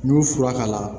N'u fura k'a la